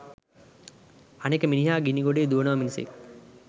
අනික මිනිහා ගිණිගොඩේ දුවනවා මිසක්